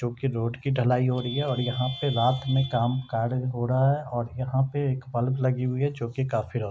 जो की रोड की ढलाई हो रही है यहाँ पे रात मैं काम कार्य हो रहा है और यहाँ पे एक बल्ब लगी हुई है जो की काफी --